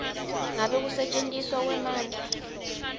ngabe kusetjentiswa kwemandla